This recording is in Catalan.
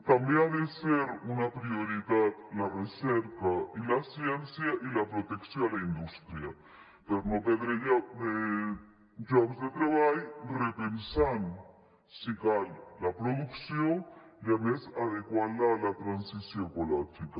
també han de ser una prioritat la recerca i la ciència i la protecció a la indústria per no perdre llocs de treball repensant si cal la producció i a més adequant la a la transició ecològica